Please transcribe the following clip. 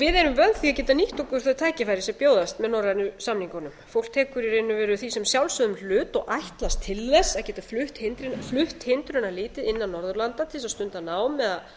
við erum vön því að geta nýtt okkur þau tækifæri sem bjóðast með norrænu samningunum fólk tekur í raun og veru því sem sjálfsögðum hlut og ætlast til þess að geta flutt hindrunarlítið innan norðurlanda til að stunda nám eða